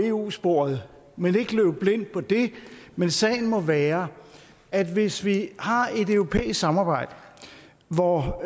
eu sporet men ikke løbe blind på det men sagen må være at hvis vi har et europæisk samarbejde hvor